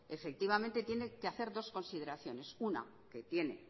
efectivamente tiene que hacer dos consideraciones una que tiene